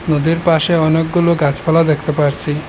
নদীর পাশে অনেকগুলো গাছপালা দেখতে পারছি।